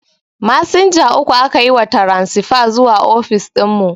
Masinja uku aka yi wa taransifa zuwa ofis dinmu